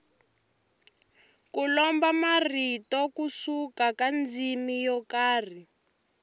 ku lomba marito ku suka ka ndzimi yo karhi